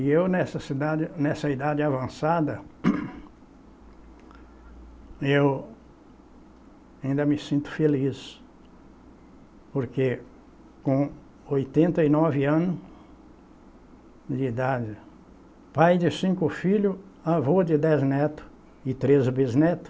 E eu nessa cidade, nessa idade avançada, eu ainda me sinto feliz, porque com oitenta e nove anos de idade, pai de cinco filhos, avô de dez netos e treze bisnetos,